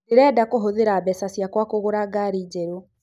Ndĩrenda kũhũthira mbeca ciakwa kũgũra gari njerũ